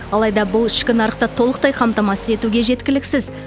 алайда бұл ішкі нарықты толықтай қамтамасыз етуге жеткіліксіз